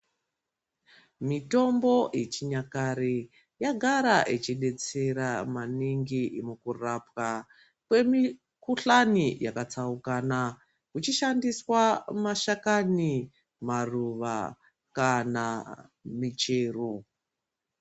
Mitombo yechinyakare yagara ichidetsera maningi mukurapwa kwemikhuhlani yakatsaukana, ichishandiswa mashakani, maruva kana michero.